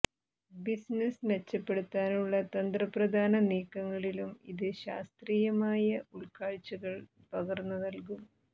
business മെച്ചപ്പെടുത്താനുള്ള തന്ത്രപ്രധാന നീക്കങ്ങളിലും ഇത് ശാസ്ത്രീയമായ ഉൾക്കാഴ്ചകൾ പകർന്നു നല്കും